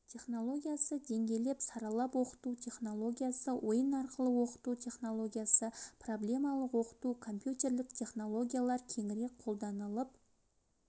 технологиясы деңгейлеп саралап оқыту технологиясы ойын арқылы оқыту технологиясы проблемалық оқыту компьютелік технологиялар кеңірек қолданылып